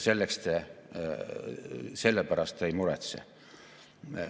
Selle pärast te ei muretse.